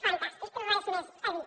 fantàstic res més per dir